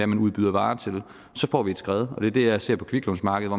man udbyder varer til så får vi et skred og det er det jeg ser på kviklånsmarkedet